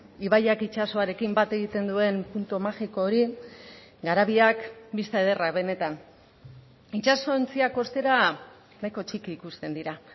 ibaiak itsasoarekin bat egiten duen puntu magiko hori garabiak bista ederra benetan itsasontziak ostera nahiko txiki ikusten dira